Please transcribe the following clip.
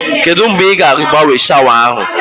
Kedụ mgbe ị ga agbanwe shawa ahụ